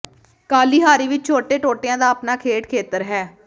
Kalahari ਵਿਚ ਛੋਟੇ ਟੋਟਿਆਂ ਦਾ ਆਪਣਾ ਖੇਡ ਖੇਤਰ ਹੈ